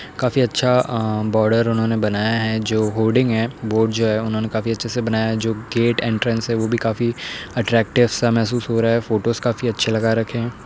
काफी अच्छा अ बॉर्डर उन्होंने बनाया है जो होर्डिंग है बोर्ड जो है उन्होंने काफी अच्छे से बनाया है। जो गेट एंट्रेंस है वह भी काफी अट्रैक्टिव सा महसूस हो रहा है। फोटोज काफी अच्छे लगा रखे हैं।